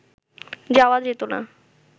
যাওয়া যেতো না